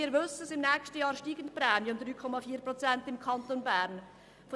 Wir wissen, dass nächstes Jahr im Kanton Bern die Prämien um 3,4 Prozent steigen.